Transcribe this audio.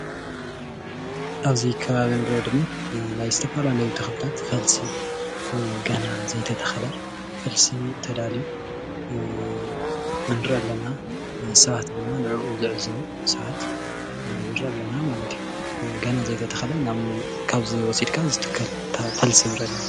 ኣብዚ ከባቢ እንሪኦ ድማ ናይ ዝተፈላለዩ ተክሊታት ፈልሲ ገና ዘይተተከለ ፈልሲ ተዳልዩ ንርኢ ኣለና፡፡ ሰባት ድማ ንዕኡ ዝዕዘቡ ሰባት ንርኢ ኣለና ማለት እዩ፡፡ ገና ዘይተተከለ ካብዚ ወሲድካ ዝትከል ፈልሲ ንርኢ ኣለና፡፡